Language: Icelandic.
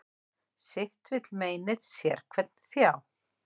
Sitt vill meinið sérhvern þjá.